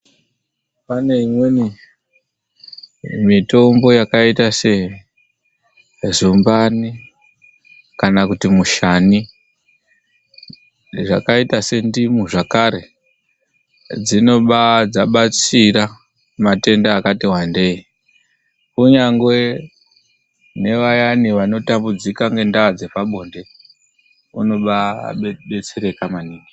Pane imweni mitombo yakaita sezumbani kana kuti mushani. Zvakaita sendimu zvakare. Dzinobatsira matenda akati wandei. Kunyangwe nevayani vanotambudzika ngendaa dzepabonde, vanobaadetsereka maningi.